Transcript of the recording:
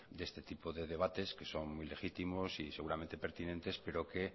de este tipo de debates que son muy legítimos y seguramente pertinentes pero que